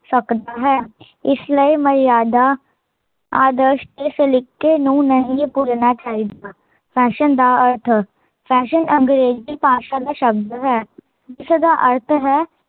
ਸਕਦਾ ਹੈ, ਇਸ ਲਈ ਮਰਯਾਦਾ ਆਦਰਸ਼ ਦੇ ਸਲੀਕੇ ਨੂੰ ਨਹੀਂ ਭੁੱਲਣਾ ਚਾਹੀਦਾ ਫੈਸ਼ਨ ਦਾ ਅਰਥ ਫੈਸ਼ਨ ਅੰਗ੍ਰੇਜੀ ਭਾਸ਼ਾ ਦਾ ਸ਼ਬਦ ਹੈ, ਜਿਸਦਾ ਅਰਥ ਹੈ